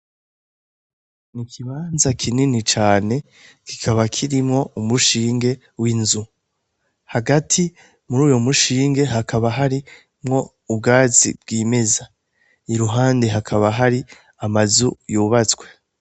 N'ikibanza kinini cane kikaba kirimwo umushinge w'inzu, hagati mur'uyo mushinge hakaba harimwo ubwatsi bwimeza, iruhande hakaba hari amazu yubatswe.